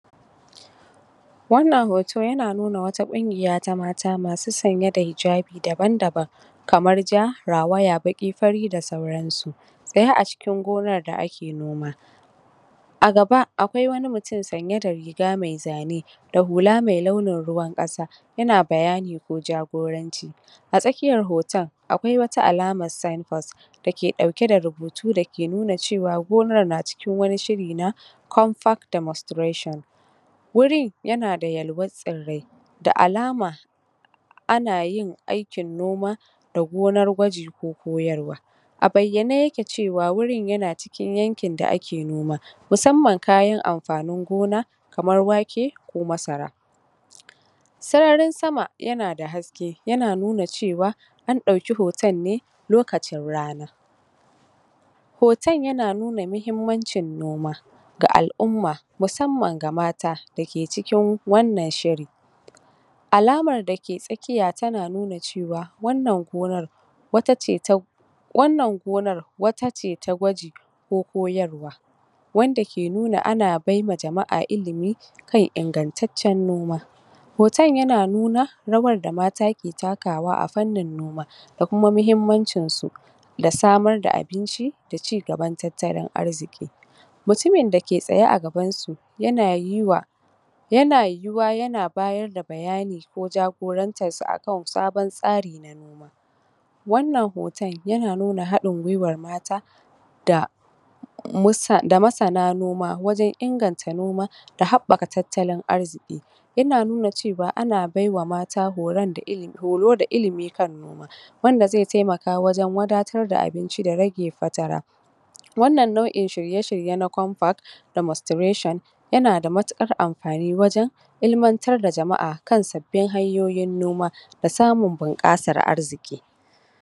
Wannan hoto yana nuna wata kungiya ta mata masu sanye da hijabi daban-daban kamar ja, rawaya, fari, baki da sauransu tsaye a cikin gonan da ake noma. A gaba akwai wani mutum sanye da riga mai zane da hula mai launin ruwan ƙasa yana bayani ko jagoranci. A tsakiyar hoton akwai wani alaman signboard dauke da rubutu da ke nuna cewa gonan nan na cikin wani shiri na contact demonstration. Wurin yana da yalwan tsirrai da alama ana yin aikin noma a gonar gwaji ko koyarwa. A bayyane yake cewa wurin yana cikin yankin da ake noma musamman kayan amfanin gona kamar wake ko masara. Sararin sama yana da haske yana da haske yana nuna cewa an dauki hoton ne lokacin rana. Hoton yana nuna muhimmanci noma ga alʼumma musamman mata da ke cikin wannan shiri, alamar da ke tsakiya tana nuna cewa wannan gonar wata ce ta wannan gonar wata ce ta gwaji ko koyarwa wanda ke nuna ana baiwa jamaʼa ilmi kan ingantaccen noma. Hoton yana nuna rawar da mata ke nunawa ta fannin noma da kuma muhimmancin su da samar da abinci da cigaban tattalin arziki. Mutumin da ke tsaye a gabansu yana yiwa yana yiwuwa yana bayar da bayani ko jagorantarsu akan sabon tsari wannan hoton yana nuna haɗin guiwar mata da da masana noma wajen inganta noma da haɓaka tattalin arziki. Yana nuna cewa ana baiwa mata horo da ilmi kan noma wanda zai taimaka wajen wadatar da abinci da rage fatara. Wannan nauʼin shirye shirye na compact demonstration yana da matukar amfani wajen ilmantar da jamaʼa kan sabbin hanyoyin noma da samun bunƙasar arziki.